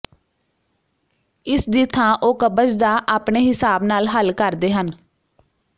ਇਸ ਦੀ ਥਾਂ ਉਹ ਕਬਜ਼ ਦਾ ਆਪਣੇ ਹਿਸਾਬ ਨਾਲ ਹੱਲ ਕਰਦੇ ਹਨ